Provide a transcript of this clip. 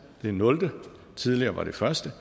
det er nul klasse tidligere var det første